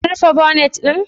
Kim rufe bonet ɗin?